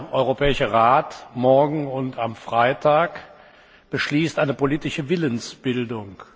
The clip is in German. Der Europäische Rat morgen und am Freitag beschließt eine politische Willensbildung.